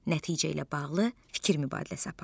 Nəticə ilə bağlı fikir mübadiləsi apar.